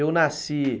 Eu nasci em...